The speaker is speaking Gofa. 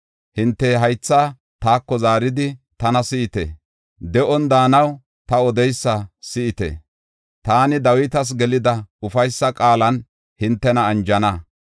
“Hinte haytha taako zaaridi tana si7ite; de7on daanaw ta odeysa si7ite; taani Dawitas gelida ufaysa qaalan hintena anjana.